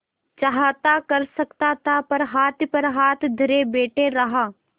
चाहता कर सकता था पर हाथ पर हाथ धरे बैठे रहा